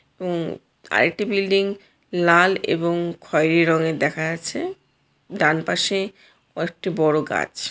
এবং আরেকটি বিল্ডিং লাল এবং খয়েরি রঙের দেখা যাচ্ছে ডান পাশে ও একটি বড়ো গাছ।